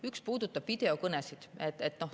Üks puudutab videokõnesid.